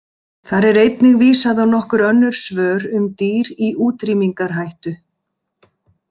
Þar er einnig vísað á nokkur önnur svör um dýr í útrýmingarhættu.